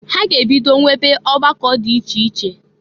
Ha ga-ebido nwebe ọgbakọ dị iche iche.